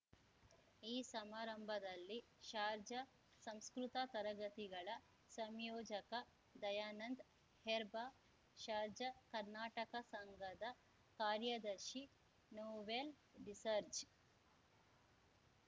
ಈ ಸಮಾರಂಭದಲ್ಲಿ ಶಾರ್ಜಾ ಸಂಸ್ಕೃತ ತರಗತಿಗಳ ಸಂಯೋಜಕ ದಯಾನಂದ್ ಹೆರ್ಬಾ ಶಾರ್ಜ ಕರ್ನಾಟಕ ಸಂಘದ ಕಾರ್ಯದರ್ಶಿ ನೋವೆಲ್ ಡಿಸರ್ಜ